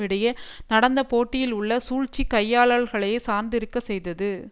இடையே நடந்த போட்டியில் உள்ள சூழ்ச்சிக் கையாளல்களை சார்ந்திருக்கச் செய்தது